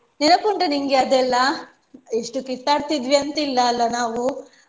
ನೆನಪುಂಟ ನಿಂಗೆ ಅದೆಲ್ಲ ಎಷ್ಟು ಕಿತ್ತಡ್ತಾ ಇದ್ವಿ ಅಂತಿಲ್ಲ ಅಲ್ಲ ನಾವು.